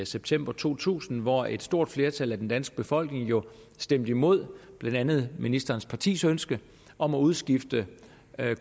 september to tusind hvor et stort flertal af den danske befolkning jo stemte imod blandt andet ministerens partis ønske om at udskifte